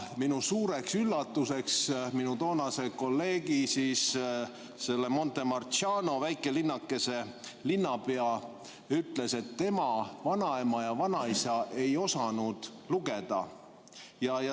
Minu suureks üllatuseks ütles minu toonase kolleegi, Montemarciano väikelinnakese linnapea, et tema vanaema ja vanaisa ei osanud lugeda.